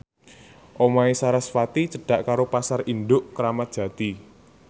omahe sarasvati cedhak karo Pasar Induk Kramat Jati